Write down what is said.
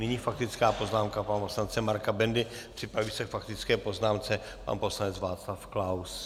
Nyní faktická poznámka pana poslance Marka Bendy, připraví se k faktické poznámce pan poslanec Václav Klaus.